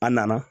A nana